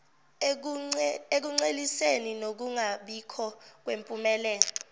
ekunceliseni nokungabikho kwempumelelo